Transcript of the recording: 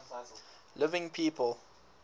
living people